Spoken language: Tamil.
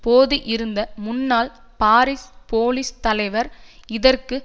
போது இருந்த முன்னாள் பாரிஸ் போலீஸ் தலைவர் இதற்கு